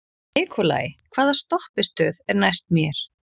Nikolai, hvaða stoppistöð er næst mér?